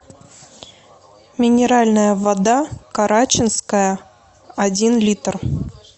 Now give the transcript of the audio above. минеральная вода карачинская один литр